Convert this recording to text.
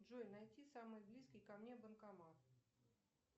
джой найти самый близкий ко мне банкомат